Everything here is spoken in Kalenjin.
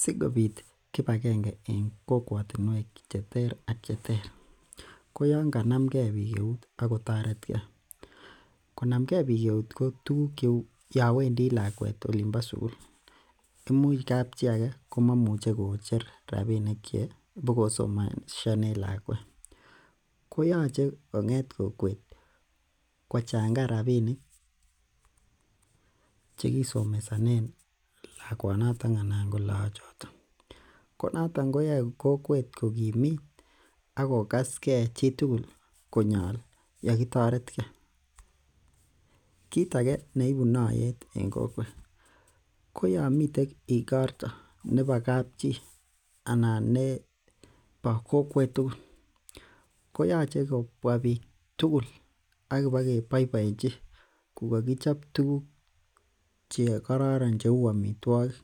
Sikobit kibakenge en kokwotiniek cheter ak cheter ko Yoon kanomge bik eut ako toreti ke, konamge bik eut ko tuguk cheuu yowendi lakwet Olin bo sukul imuche kab chi age komuche kocher rabinik che ipokosomeshanen lakwet koyoche kong'et kokwet kochangan rabinik che kisomesonen lakwonato anan lakochoto, ko noton koyoe kokwet ko kimit ako gaske chi tugul konyol yo kitoretke. Kit age neibi noyet en kokwet ko yomiten igorto nebo kab chi anan nebo kokwet tugul koyoche kobua bik tugul ak ki ba ke boiboenji ko kakichob tuguk che kororon cheuu amitwakik